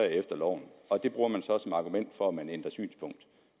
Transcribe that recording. efter loven det bruger man så som argument for at man ændrer synspunkt